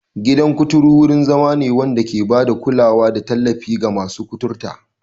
Gidan kuturu wurin zama ne wanda ke ba da kulawa da tallafi ga masu kuturta.